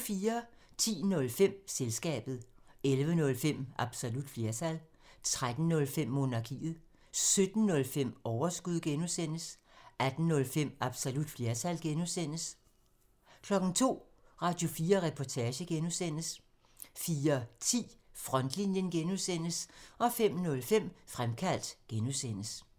10:05: Selskabet 11:05: Absolut flertal 13:05: Monarkiet 17:05: Overskud (G) 18:05: Absolut flertal (G) 02:00: Radio4 Reportage (G) 04:10: Frontlinjen (G) 05:05: Fremkaldt (G)